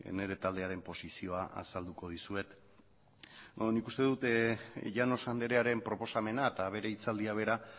nire taldearen posizioa azalduko dizuet nik uste dut llanos andrearen proposamena eta bere hitzaldia bera